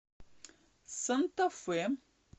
санта фе